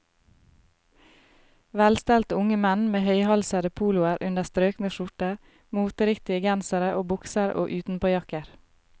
Velstelte unge menn med høyhalsede poloer under strøkne skjorter, moteriktige gensere og bukser og utenpåjakker.